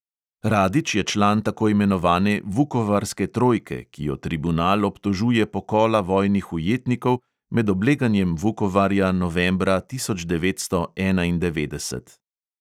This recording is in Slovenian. Radić je član tako imenovane vukovarske trojke, ki jo tribunal obtožuje pokola vojnih ujetnikov med obleganjem vukovarja novembra tisoč devetsto enaindevetdeset.